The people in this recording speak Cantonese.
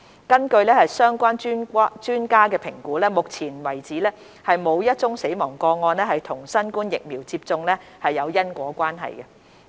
根據相關專家的評估，目前為止沒有一宗死亡個案與新冠疫苗接種有因果關係。